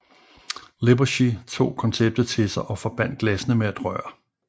Lippershey tog konceptet til sig og forbandt glassene med et rør